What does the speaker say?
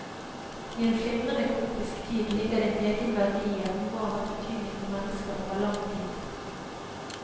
I en flimrende, kaotisk tid ligger det en egen verdi i at noe har hatt betydning for mennesker over lang tid.